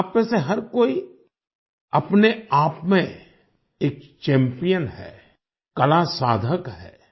आपमें से हर कोई अपने आप में एक चैम्पियन है कला साधक है